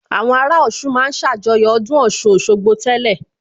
Àwọn ará Ọ̀ṣun ma ń ṣàjọyọ̀ ọdún Ọ̀ṣun Òṣogbo tẹ́lẹ̀